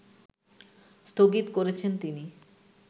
স্থগিত করেছেন তিনি